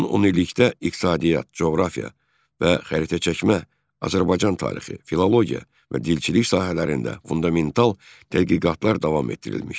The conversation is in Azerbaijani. Son on illikdə iqtisadiyyat, coğrafiya və xəritəçəkmə, Azərbaycan tarixi, filologiya və dilçilik sahələrində fundamental tədqiqatlar davam etdirilmişdir.